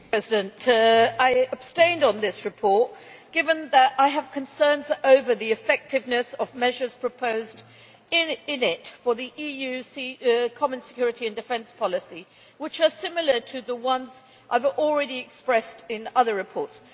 Madam President, I abstained on this report given that I have concerns over the effectiveness of measures proposed in it for the EU Common Security and Defence Policy which are similar to the ones I have already expressed in other reports.